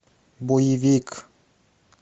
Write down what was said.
боевик